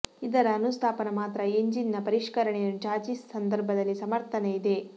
ಇದರ ಅನುಸ್ಥಾಪನ ಮಾತ್ರ ಎಂಜಿನಿನ ಪರಿಷ್ಕರಣೆಯನ್ನು ಚಾಸಿಸ್ ಸಂದರ್ಭದಲ್ಲಿ ಸಮರ್ಥನೆ ಇದೆ